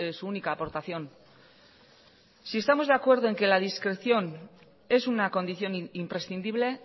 su única aportación si estamos de acuerdo en que la discreción es una condición imprescindible